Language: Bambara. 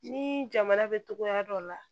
Ni jamana bɛ togoya dɔ la